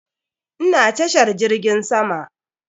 Ina tashar jirgin sama.